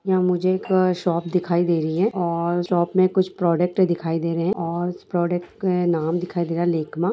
यहाँ मुझे एक शॉप दिखाई दे रही है और शॉप में कुछ प्रोडक्ट दिखाई दे रहे हैं और प्रोडक्ट का नाम दिखाई दे रहा है लेकमा ।